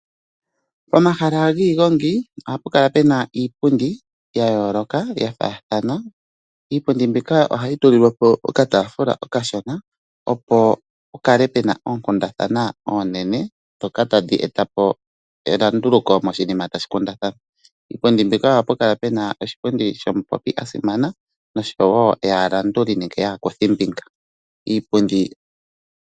Omahala giigongi ohapu kala pena iipundi yayoloka yafathana. Iipundi mbika ohayi tulilwa po okataafula okashona opo pu kale oonkundana oonene dhoka tadhi eta po elunduluko moshinima tashi kundathanwa. Iipundi mbika ohapu kala puna oshipundi shomupopi asimana noshowo yaalanduli nenge yaakuthimbinga.